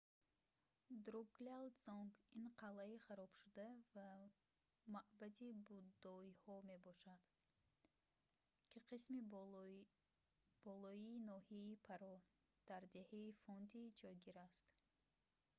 друкгял дзонг – ин қалъаи харобшуда ва маъбади буддоиҳо мебошад ки дар қисми болоии ноҳияи паро дар деҳаи фонди ҷойгир аст